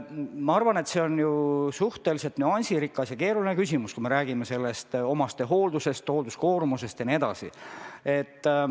Ma arvan, et see on suhteliselt nüansirikas ja keeruline küsimus, kui me räägime omastehooldusest, hoolduskoormusest jne.